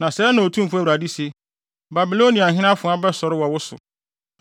“ ‘Na sɛɛ na Otumfo Awurade se: “ ‘Babiloniahene afoa bɛsɔre wɔ wo so.